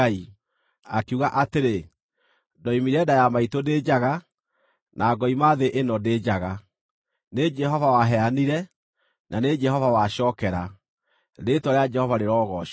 akiuga atĩrĩ: “Ndoimire nda ya maitũ ndĩ njaga, na ngoima thĩ ĩno ndĩ njaga. Nĩ Jehova waheanire, na nĩ Jehova wacookera: rĩĩtwa rĩa Jehova rĩrogoocwo.”